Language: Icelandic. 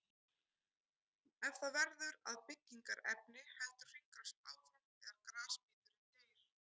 Ef það verður að byggingarefni heldur hringrásin áfram þegar grasbíturinn deyr.